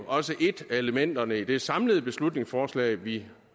også et af elementerne i det samlede beslutningsforslag vi